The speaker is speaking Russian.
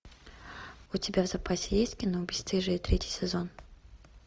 у тебя в запасе есть кино бесстыжие третий сезон